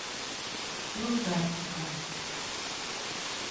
илдарчика